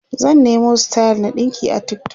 zan Nemo style na ɗinki a TikTok